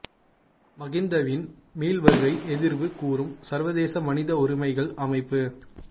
மகிந்தவின் மீள் வருகை எதிர்வு கூறும் சர்வதேச மனித உரிமைகள் அமைப்பு